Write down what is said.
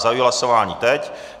Zahajuji hlasování teď.